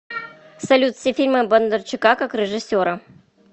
салют все фильмы бондарчука как режиссера